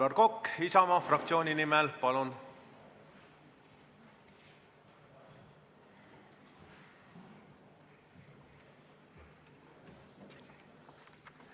Aivar Kokk Isamaa fraktsiooni nimel, palun!